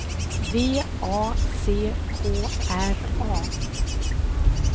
V A C K R A